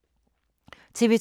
TV 2